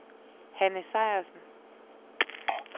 Hanne Sejersen